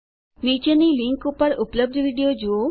નીચેની લીંક ઉપર ઉપલબ્ધ વિડીયો જુઓ